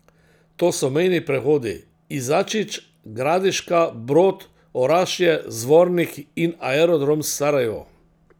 To so mejni prehodi Izačić, Gradiška, Brod, Orašje, Zvornik in Aerodrom Sarajevo.